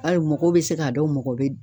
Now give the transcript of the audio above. Ayi mɔgɔw be se ka dɔn mɔgɔ be